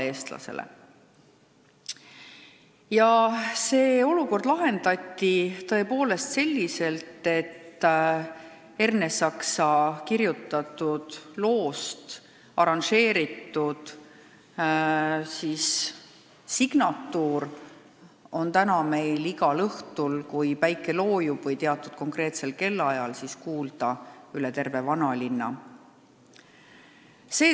See olukord lahendati selliselt, et Ernesaksa kirjutatud loost arranžeeritud signatuur on nüüd igal õhtul teatud konkreetsel kellaajal kuulda üle terve vanalinna.